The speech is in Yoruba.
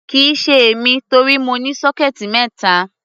Kì í ṣe èmi, torí mo ní sọ́kẹ́ẹ̀tì mẹ́ta.